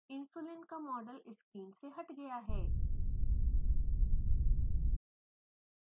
insulin का model screen से हट गया है